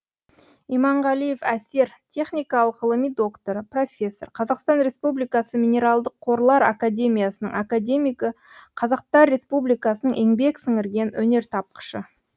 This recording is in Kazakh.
иманғалиев әсер техникалық ғылыми докторы профессор қазақстан республикасы минералдық қорлар академиясының академигі қазақстан республикасының еңбек сіңірген өнертапқышы